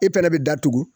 E fɛnɛ bɛ datugu